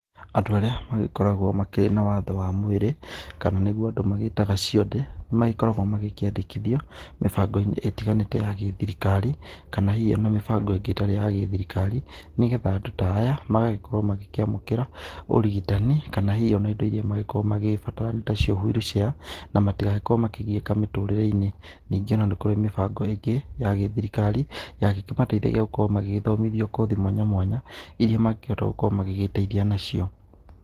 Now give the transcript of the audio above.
Andũ arĩa magĩkoragwo makĩrĩ na wathe wa mwĩrĩ, kana nĩguo andũ magĩtaga cionje, magĩkoragwo magĩkĩandikithio, mĩbago-inĩ ĩtiganete ya gĩthirikari, kana hihi ona mĩbago ĩngĩ ĩtarĩ ya gĩthirikari, nĩgetha andũ ta aya magagĩkorwo magĩkĩamũkĩra ũrigitani kana hihi ona indo irĩa magĩkorwo magĩbatara nacio ta wheel chair na matigagĩkorwo makĩgieka mĩtũrĩrĩ-inĩ. Ningĩ ona nĩ kũrĩ mĩbago ĩngĩ ya gĩthirikari, yangĩkĩmateithagia gũkorwo magĩthomithio kothi mwanya mwanya, irĩa mangĩhota gũkorwo magĩgĩteithia nacio.